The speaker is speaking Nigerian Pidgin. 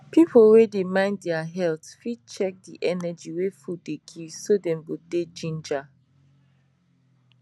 people wey dey mind their health fit check the energy wey food dey give so dem go dey ginger